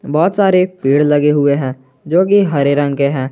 बहुत सारे पेड़ लगे हुए हैं जो की हरे रंग के हैं।